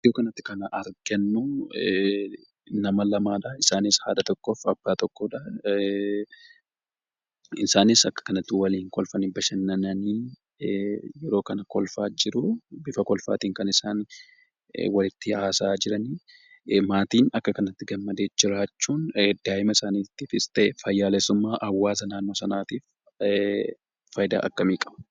Iddoo kanatti kan argannu nama lamadha. Isaanis,;haadha tokkoof, abbaa tokkodha. Isaanis akka kanatti waliin kolfani bashannanani, yeroo kana kolfa jiru, bifa kolfaatiin walitti hasa'aa jirani. Maatiin akka kanatti gammadee jiraachuun daa'ima isaaniitifis ta'ee, faayyaleessumma hawaasa naannoo saanatif faayida akkamii qaba?